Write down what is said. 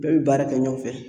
Bɛɛ bɛ baara kɛ ɲɔn fɛ.